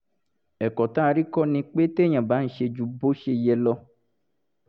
ẹ̀kọ́ tá a rí kọ́ ni pé téèyàn bá ń ṣe ju bó ṣe yẹ lọ